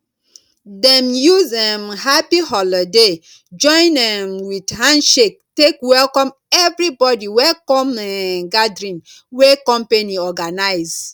dem use um happy holoday join um with handshake take welcome everibodi wey come um gathering wey company organize